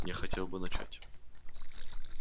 я хотел бы начать